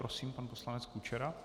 Prosím, pan poslanec Kučera.